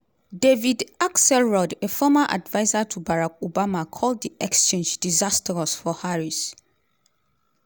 david axelrod a former adviser to barack obama call di exchange "diisastrous" for harris.